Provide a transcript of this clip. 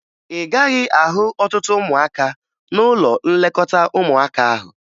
Ị gaghị ahụ ọtụtụ ụmụaka n'ụlọ nlekọta ụmụaka ahụ